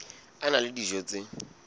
a na le dijo tse